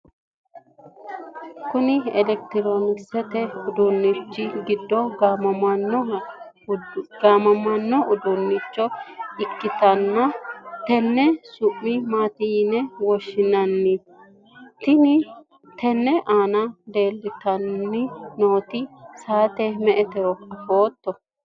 kuni elekitiroonikisete uduunnichi giddo gaammani uduunnicho ikkitanna tenne su'ma maati yine woshshinanni? tenne aana leeltanni nooti saate me''etero afootto ?